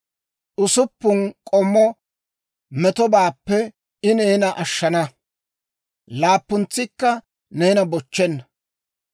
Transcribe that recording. Usuppun k'ommo metobaappe I neena ashshana; laappuntsikka neena bochchenna.